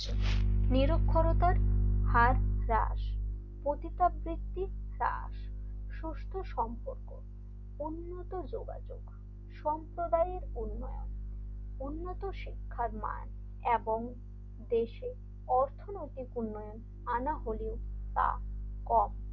সুস্থ সম্পর্ক উন্নত যোগাযোগ সম্প্রদায়ের উন্নয়ন উন্নত শিক্ষার মান এবং দেশের অর্থনৈতিক উন্নয়ন আনা হলে তা কম,